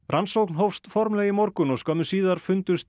rannsókn hófst formlega í morgun og skömmu síðar fundust